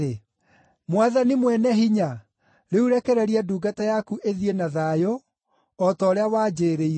“Mwathani Mwene-Hinya, rĩu rekereria ndungata yaku ĩthiĩ na thayũ, o ta ũrĩa wanjĩĩrĩire.